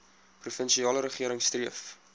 provinsiale regering streef